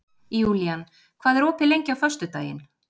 Júlían, hvað er opið lengi á föstudaginn?